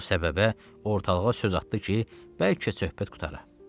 Bu səbəbə ortalığa söz atdı ki, bəlkə söhbət qurtara.